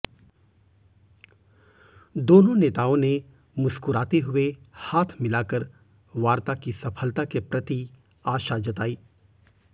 दोनों नेताओं ने मुस्कुराते हुए हाथ मिलाकर वार्ता की सफलता के प्रति आशा जताई